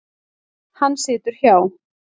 Hann situr hjá